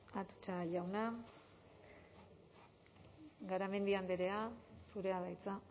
atutxa jauna garamendi andrea zurea da hitza